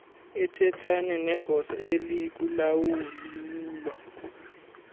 athethane negosa elikulawulo